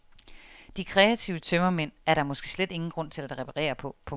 De kreative tømmermænd er der måske slet ingen grund til at reparere på. punktum